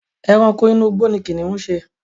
Ẹranko inú igbó ni kìnnìún ń ṣe.